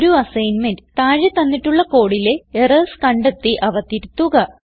ഒരു അസ്സൈന്മെന്റ് താഴെ തന്നിട്ടുള്ള കോഡിലെ എറർസ് കണ്ടെത്തി അവ തിരുത്തുക